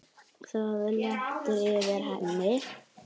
Það léttir yfir henni.